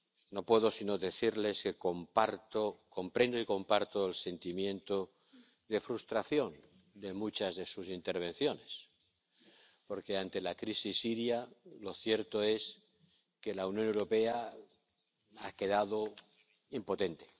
No puedo sino decirles que comprendo y comparto el sentimiento de frustración de muchas de sus intervenciones porque, ante la crisis siria, lo cierto es que la Unión Europea ha quedado impotente.